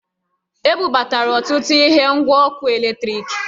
E bubatara ọtụtụ ihe ngwa ọkụ eletriki